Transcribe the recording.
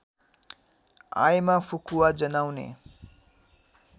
आएमा फुकुवा जनाउने